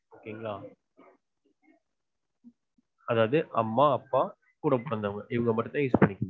ok ங்கல அதாவது அம்மா அப்பா கூடப்பிறந்தவங்க இவங்கமட்டும்தெ use பண்ணிக்கனும்